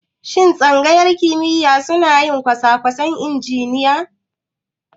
Shin Tsangayar kimiyya suna yin kosakwasan injiniya?